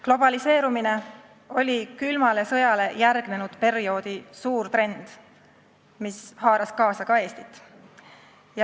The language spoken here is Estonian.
Globaliseerumine oli külmale sõjale järgnenud perioodi suur trend, mis haaras kaasa ka Eestit.